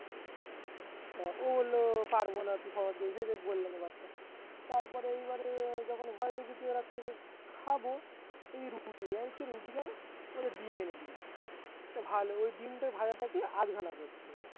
ও বললো পারবো না তুই তারপরে এইবারে যখন ঘরে ঢুকেছি খাবো এই রুটি এই কে রুটি কেন বলে ডিম মেরে দিয়েছি তো ভালো ওই ডিমটা ভাজাটা কে আধখানা করছে